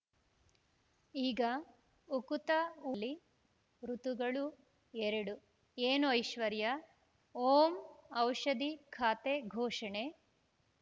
ಈಗ ಉಕುತ ಊ ಲ್ಲಿ ಋತುಗಳು ಎರಡು ಏನು ಐಶ್ವರ್ಯಾ ಓಂ ಔಷಧಿ ಖಾತೆ ಘೋಷಣೆ